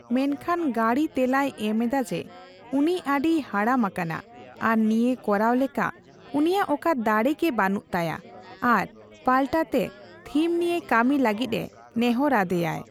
ᱢᱮᱱᱠᱷᱟᱱ, ᱜᱟᱸᱲᱤ ᱛᱮᱞᱟᱭ ᱮᱢ ᱮᱫᱟ ᱡᱮ ᱩᱱᱤ ᱟᱹᱰᱤᱭ ᱦᱟᱲᱟᱢ ᱟᱠᱟᱱᱟ ᱟᱨ ᱱᱤᱭᱟᱹ ᱠᱚᱨᱟᱣ ᱞᱮᱠᱟ ᱩᱱᱤᱭᱟᱜ ᱚᱠᱟ ᱫᱟᱲᱮ ᱜᱮ ᱵᱟᱹᱱᱩᱜ ᱛᱟᱭᱟ ᱟᱨ ᱯᱟᱞᱴᱟ ᱛᱮ ᱵᱷᱤᱢ ᱱᱤᱭᱟᱹ ᱠᱟᱹᱢᱤ ᱞᱟᱹᱜᱤᱫ ᱮ ᱱᱮᱦᱚᱨ ᱟᱫᱮᱭᱟᱭ᱾